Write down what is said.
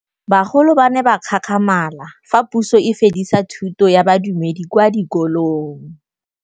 Bagolo ba ne ba gakgamala fa Pusô e fedisa thutô ya Bodumedi kwa dikolong.